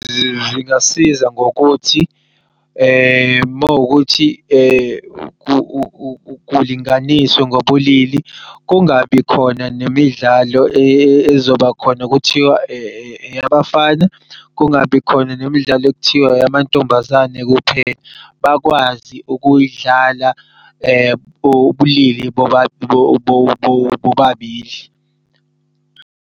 Zingasiza ngokuthi mawukuthi kulinganiswe ngobulili, kungabi khona nemidlalo ezobakhona kuthiwa eyabafana kungabikhona nemidlalo ekuthiwa eyamantombazane kuphela. Bakwazi ukuy'dlala ubulili bobabili.